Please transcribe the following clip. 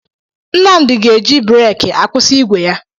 Nnamdi ga-eji breeki akwụsị igwe ya.